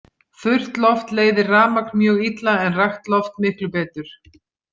Þurrt loft leiðir rafmagn mjög illa en rakt loft miklu betur.